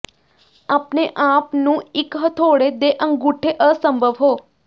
ਆਪਣੇ ਆਪ ਨੂੰ ਇੱਕ ਹਥੌੜੇ ਦੇ ਅੰਗੂਠੇ ਅਸੰਭਵ ਹੋ